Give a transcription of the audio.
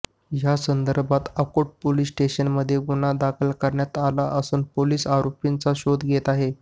या संदर्भात आकोट पोलिस स्टेशनमध्ये गुन्हा दाखल करण्यात आला असून पोलीस आरोपींचा शोध घेत आहेत